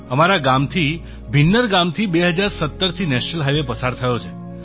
અમારા ગામથી ભિન્નર ગામથી 2017થી નેશનલ હાઇવે પસાર થયો છે